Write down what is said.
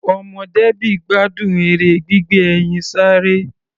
Ọmọ Debby gbádùn eré gbígbé ẹyin sáré.